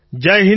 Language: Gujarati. જય હિન્દ સર